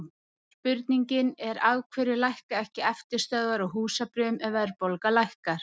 spurningin er af hverju lækka ekki eftirstöðvar á húsbréfum ef verðbólga lækkar